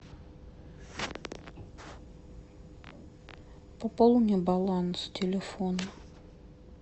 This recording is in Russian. пополни баланс телефона